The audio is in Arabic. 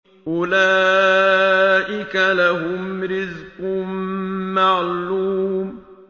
أُولَٰئِكَ لَهُمْ رِزْقٌ مَّعْلُومٌ